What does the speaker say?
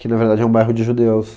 Que, na verdade, é um bairro de judeus.